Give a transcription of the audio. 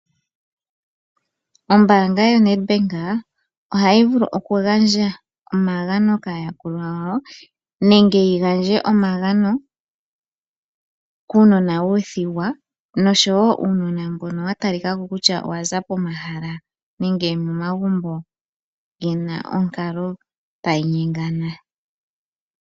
Ombaanga yoNedbank ohayi vulu okugandja omagano kaayakulwa yawo nenge yi gandje omagano kuunona wuuthigwa noshowo uunona mbono wa talika ko kutya owa za pomahala nenge momagumbo ge na onkalo tayi nyengana.